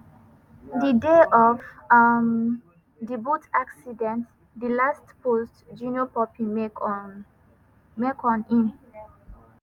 di day of um di boat accident di last post junior pope make on im